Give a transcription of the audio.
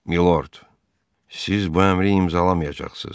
Milord, siz bu əmri imzalamayacaqsınız.